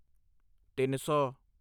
ਤਿੱਨ ਸੌ